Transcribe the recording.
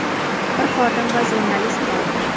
bir xodim va jurnalist bor.